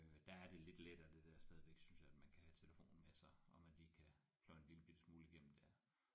Øh der er det lidt lettere det der stadigvæk synes jeg at man kan have telefonen med sig og man lige kan pløje en lille bitte smule igennem der